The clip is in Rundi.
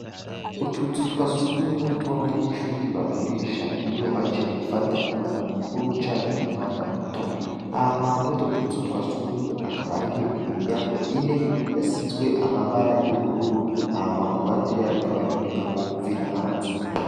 Utuzutwa s ugumwe tw'abanyenshubiri bakoresha iyo baje gufata umwanda mukuru cane umwanda muto ah ma muto utuzutwa sugumwe akabariyo imiryango ine yasizwe amabara y'ubururu ah makurande yayo akaba ari n'umuryango wo guvira hanze.